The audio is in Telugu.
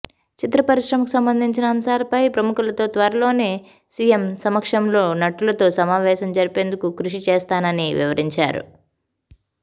చిత్ర పరిశ్రమకు సంబంధించిన అంశాలపై ప్రముఖులతో త్వరలోనే సీఎం సమక్షంలో నటులతో సమావేశం జరిపించేందుకు కృషి చేస్తానని వివరించారు